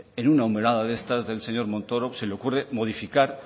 en una de estas del señor montoro se le ocurre modificar